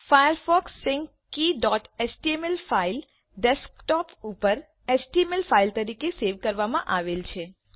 Firefox sync keyએચટીએમએલ file desktop ઉપર HTML file તરીકે સેવ કરવામાં આવેલ છે